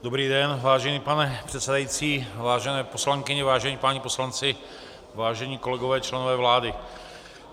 Dobrý den, vážený pane předsedající, vážené poslankyně, vážení páni poslanci, vážení kolegové, členové vlády.